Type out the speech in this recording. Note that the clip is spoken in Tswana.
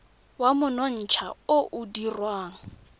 wa monontsha o o dirwang